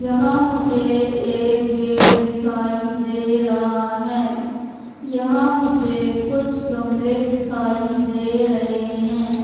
यहां मुझे एक गेट दिखाई दे रहा है यहां मुझे कुछ गमले दिखाई दे रहे हैं।